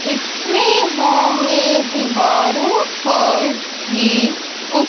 इसमें हमें दीवारों पर ही कु--